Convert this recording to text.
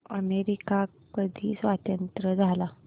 America कधी स्वतंत्र झाला